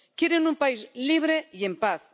Quieren un país libre y en paz.